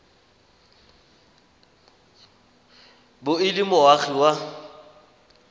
bo e le moagi wa